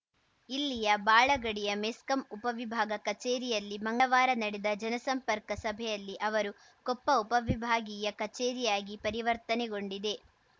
ಇಲ್ಲಿಯ ಬಾಳಗಡಿಯ ಮೆಸ್ಕಾಂ ಉಪವಿಭಾಗ ಕಚೇರಿಯಲ್ಲಿ ಮಂಗಳವಾರ ನಡೆದ ಜನಸಂಪರ್ಕ ಸಭೆಯಲ್ಲಿ ಅವರು ಕೊಪ್ಪ ಉಪವಿಭಾಗೀಯ ಕಚೇರಿಯಾಗಿ ಪರಿವರ್ತನೆಗೊಂಡಿದೆ